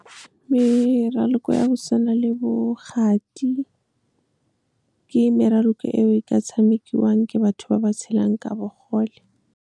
Meraloko ya go tshwana le bo kgati, ke maraloko eo e ka tshamekiwang ke batho ba ba tshelang ka bogole. Meraloko ya go tshwana le bo kgati, ke maraloko eo e ka tshamekiwang ke batho ba ba tshelang ka bogole.